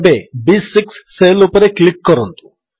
ଏବେ ବି6 ସେଲ୍ ଉପରେ କ୍ଲିକ୍ କରନ୍ତୁ